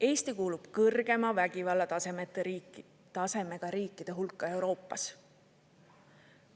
Eesti kuulub kõrgema vägivallatasemega riikide hulka Euroopas.